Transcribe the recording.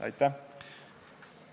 Aitäh!